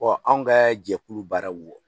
anw ka jɛkulu baara wɔ